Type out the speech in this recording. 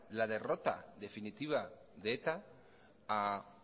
la derrota definitiva de eta a